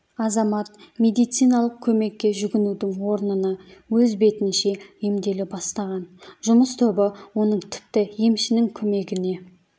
азамат медициналық көмекке жүгінудің орнына өз бетінше емделе бастаған жұмыс тобы оның тіпті емшінің көмегіне